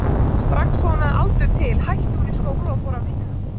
Strax og hún hafði aldur til hætti hún í skóla og fór að vinna.